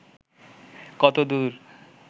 কত দূর